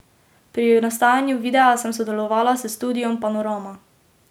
Pri nastajanju videa sem sodelovala s Studiom Panorama.